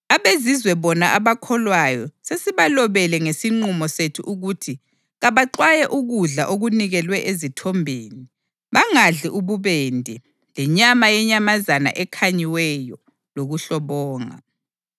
AbeZizwe bona abakholwayo sesibalobele ngesinqumo sethu ukuthi kabaxwaye ukudla okunikelwe ezithombeni, bangadli ububende, lenyama yenyamazana ekhanyiweyo lokuhlobonga.”